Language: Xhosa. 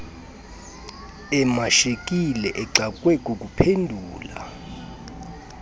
emashekile exakwe kukuphendula